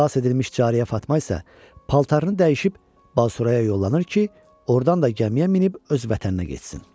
Xilas edilmiş cariyə Fatma isə paltarını dəyişib Basuraya yollanır ki, ordan da gəmiyə minib öz vətəninə getsin.